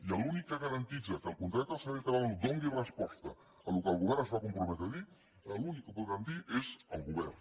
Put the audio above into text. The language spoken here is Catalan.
i l’únic que garanteix que el contracte del servei català de la salut doni resposta al que el govern es va comprometre a dir l’únic que ho podrà dir és el govern